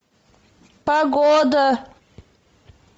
погода